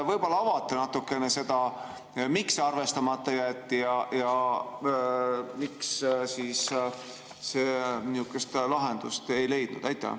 Võib-olla avate natukene, miks see arvestamata jäeti ja miks see niisugust lahendust ei leidnud?